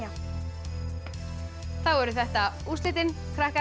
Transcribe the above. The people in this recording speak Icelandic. þá eru þetta úrslitin krakkar